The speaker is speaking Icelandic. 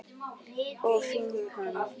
og finkan?